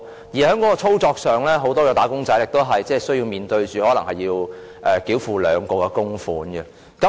此外，在操作上，很多"打工仔"亦須面對可能須繳付兩項供款的情況。